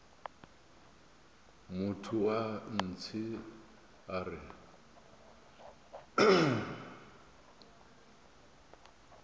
motho wa ntshe a re